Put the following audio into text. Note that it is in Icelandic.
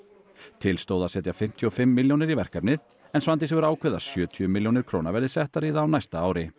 til stóð að setja fimmtíu og fimm milljónir í verkefnið en Svandís hefur ákveðið að sjötíu milljónir króna verði settar í það á næsta ári